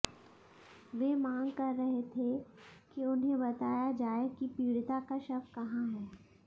वे मांग कर रहे थे कि उन्हें बताया जाए कि पीड़िता का शव कहां है